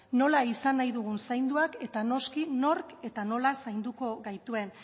nola izan nahi dugun zainduak eta noski nork eta nola zainduko gaituen